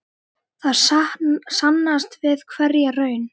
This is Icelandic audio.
Það sannast við hverja raun.